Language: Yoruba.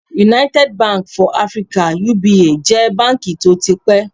United Bank for Africa (UBA) jẹ́ báǹkì tó ti pẹ́